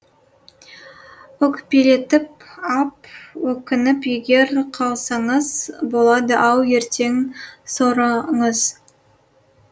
өкпелетіп ап өкініп егер қалсаңыз болады ау ертең сорыңыз